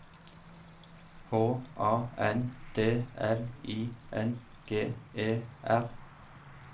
H A N D L I N G E R